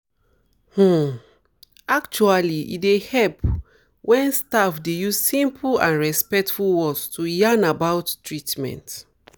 um actually e dey help wen staff dey use simple and respectful words to yarn about um treatments